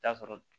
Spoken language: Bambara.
Taa sɔrɔ